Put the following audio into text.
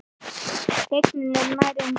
Teygnin er nær engin.